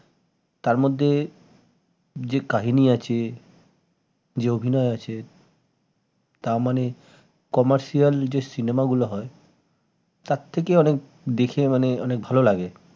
তারমধ্যে যে কাহিনী আছে যে অভিনয় আছে তা মানে commercial যে cinema গুলো হয় তার থেকে অনেক দেখে মানে অনেক ভাল লাগে